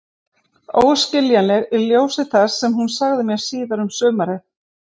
Óskiljanleg í ljósi þess sem hún sagði mér síðar um sumarið.